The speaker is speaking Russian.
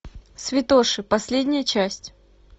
святоша последняя часть